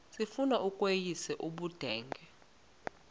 sifuna ukweyis ubudenge